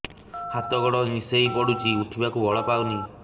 ହାତ ଗୋଡ ନିସେଇ ପଡୁଛି ଉଠିବାକୁ ବଳ ପାଉନି